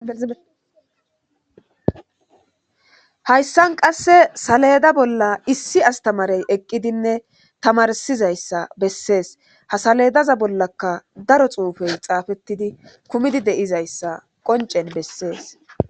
Hayssan qasse saledda bolla issi astamarey eqqidinne tamarsizayssa besses ha saleddaza bollaka daro xuufey xafetidi kuumidi deizayssa qonccen besses.